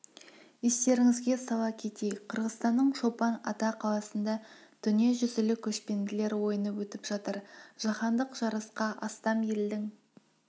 естеріңізге сала кетейік қырғызстанның чолпан ата қаласында дүниежүзілік көшпенділер ойыны өтіп жатыр жаһандық жарысқа астам елдің